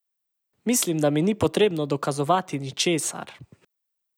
Mislim, da mi ni potrebno dokazovati ničesar.